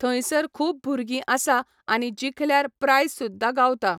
थंयसर खूब भुरगीं आसा आनी जिखल्यार प्रायस सुद्दाा गावता.